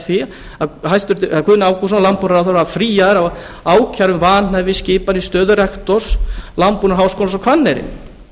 því að guðni ágústsson landbúnaðarráðherra var fríaður af ákæru um vanhæfisskipan í stöðu rektors landbúnaðarháskólans á hvanneyri